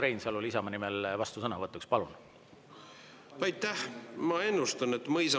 Ja ilmselgelt on Isamaa nimel vastusõnavõtu ootus ja põhjust selleks Urmas Reinsalul.